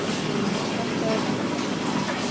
Þetta er hættulegt.